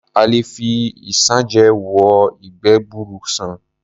A lè fi isanje wo ìgbẹ́ gbuuru sàn.